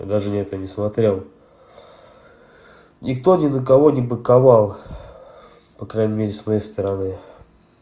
я даже на это не смотрел никто ни на кого не банковал по крайней мере своей стороны